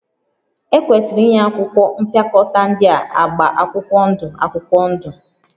Ekwesịrị inye akwụkwọ mpịakọta ndị a agba akwụkwọ ndụ akwụkwọ ndụ